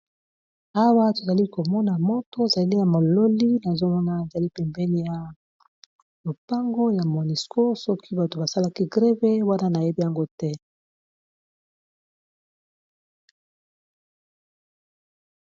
Awa tozali komona moto zali ya mololi na zomona ezali pempeni ya lopango ya monesco, soki bato basalaki greve wana na yeb yango te.